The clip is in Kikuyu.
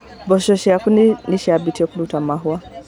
Mboco ciaku nĩcimabĩtie kũruta mahũa.